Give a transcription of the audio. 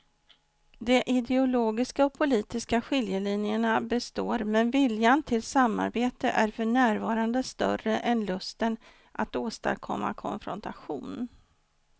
De ideologiska och politiska skiljelinjerna består men viljan till samarbete är för närvarande större än lusten att åstadkomma konfrontation.